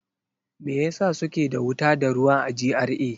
Me yasa suke da wuta da ruwa a GRA?